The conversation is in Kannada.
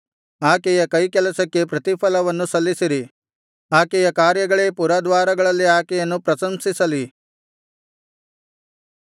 ಆಕೆಯ ಕೈಕೆಲಸಕ್ಕೆ ಪ್ರತಿಫಲವನ್ನು ಸಲ್ಲಿಸಿರಿ ಆಕೆಯ ಕಾರ್ಯಗಳೇ ಪುರದ್ವಾರಗಳಲ್ಲಿ ಆಕೆಯನ್ನು ಪ್ರಶಂಸಿಸಲಿ